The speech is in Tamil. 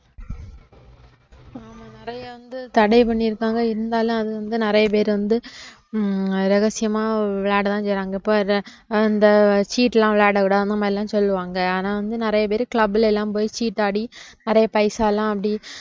நிறைய வந்து தடை பண்ணிருக்காங்க இருந்தாலும் அது வந்து நிறைய பேர் வந்து ஹம் ரகசியமா விளையாடத்தான் செய்றாங்க, இப்ப அத அந்த சீட்டு எல்லாம் விளையாட விடாம அந்த மாதிரி எல்லாம் சொல்லுவாங்க, ஆனா வந்து ஆனா வந்து நிறைய பேர் club ல எல்லாம் போயி சீட்டாடி நிறைய பைசாலாம் அப்படி